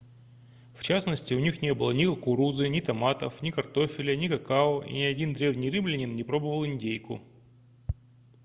в частности у них не было ни кукурузы ни томатов ни картофеля ни какао и ни один древний римлянин не пробовал индейку